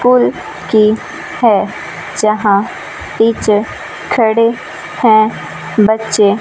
school की है जहां टीचर खड़े हैं बच्चे--